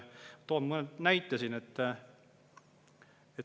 Toon mõne näite.